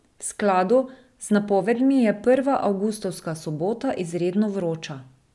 V skladu z napovedmi je prva avgustovska sobota izredno vroča.